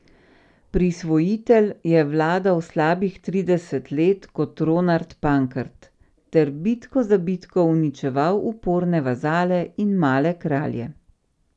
Prisvojitelj je vladal slabih trideset let kot Ronard Pankrt ter bitko za bitko uničeval uporne vazale in male kralje.